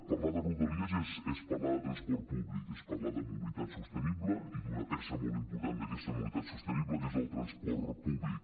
parlar de rodalies és parlar de transport públic és parlar de mobilitat sostenible i d’una peça molt important d’aquesta mobilitat sostenible que és el transport públic